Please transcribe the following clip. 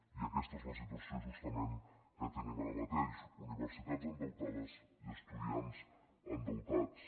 i aquesta és la situació justament que tenim ara mateix universitats endeutades i estudiants endeutats